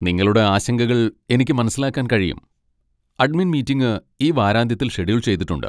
നിങ്ങളുടെ ആശങ്കകൾ എനിക്ക് മനസ്സിലാക്കാൻ കഴിയും, അഡ്മിൻ മീറ്റിംഗ് ഈ വാരാന്ത്യത്തിൽ ഷെഡ്യൂൾ ചെയ്തിട്ടുണ്ട്.